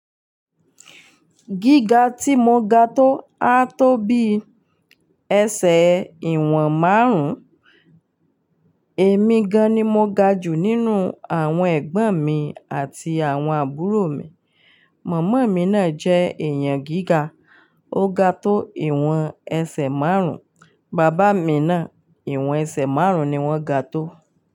Gíga tí mo ga tó, á tó bí ẹsẹ̀ ìwọ̀n márùn-ún. Èmi gan-an ni mo ga jù nínú àwọn ẹ̀gbọ́n mi àti àwọn àbúrò mi. Màmá mi náà jẹ́ èèyàn gíga, ó ga tó ìwọ̀n ẹsẹ̀ márùn-ún. Bàbá mi náà ìwọ̀n ẹsẹ̀ márùn-ún ni wọ́n ga tó.